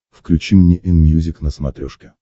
включи мне энмьюзик на смотрешке